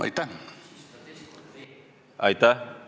Aitäh!